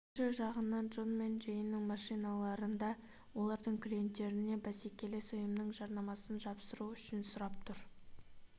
екінші жағынан джон мен джейннен машиналарында олардың клиенттеріне бәсекелес ұйымның жарнамасын жапсырып жүруін сұрап тұр